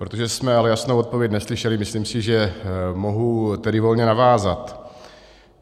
Protože jsme ale jasnou odpověď neslyšeli, myslím si, že mohu tedy volně navázat.